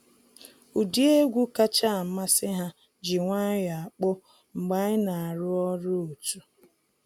Ụdị egwu kacha amasị ha ji nwayọ akpọ mgbe anyị na arụ ọrụ otu.